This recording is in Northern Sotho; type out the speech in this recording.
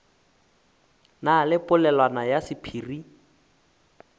na le polelwana ya sephiri